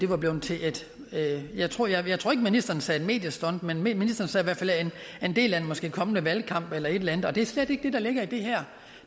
var blevet til jeg tror ikke ministeren sagde mediestunt men men en del af en måske kommende valgkamp eller et eller andet men det er slet ikke det der ligger i det her